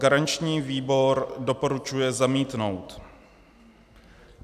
Garanční výbor doporučuje zamítnout.